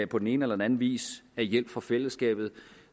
på den ene eller den anden vis bliver af hjælp fra fællesskabet